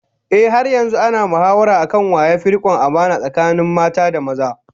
Ehh, har yanzu ana mahawara akan wa yafi rikon amana tsakanin mata da maza